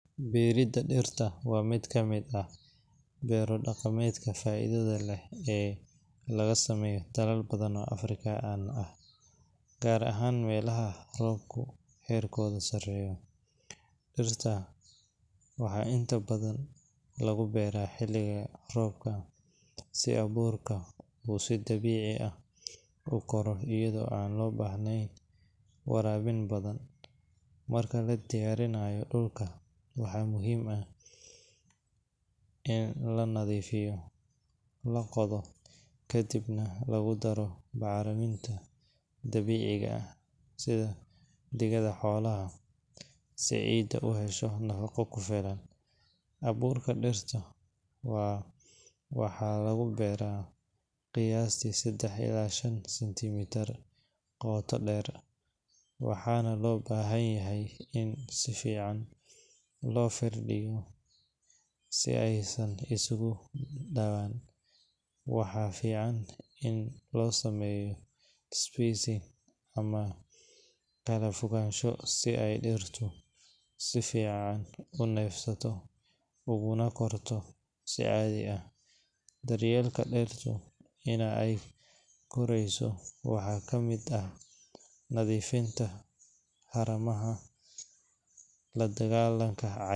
Beeridda dirta waa mid ka mid ah beero-dhaqameedka faa’iidada leh ee laga sameeyo dalal badan oo Afrikaan ah, gaar ahaan meelaha roobka heerkoodu sarreeyo. Dhirta waxaa inta badan lagu beeraa xilliga roobka, si abuurka uu si dabiici ah u koro iyadoo aan loo baahnayn waraabin badan. Marka la diyaarinayo dhulka, waxaa muhiim ah in la nadiifiyo, la qodo, kadibna lagu daro bacriminta dabiiciga ah sida digada xoolaha, si ciidda u hesho nafaqo ku filan. Abuurka dirta waxaa lagu beeraa qiyaastii 3-5 cm qoto dheer, waxaana loo baahan yahay in si fiican loo firdhiyo si aysan isugu dhawaan. Waxaa fiican in loo sameeyo spacing ama kala-fogaansho si ay dhirtu si fiican u neefsato uguna korto si caadi ah. Daryeelka dirta inta ay korayso waxa ka mid ah nadiifinta haramaha, la dagaallanka ca.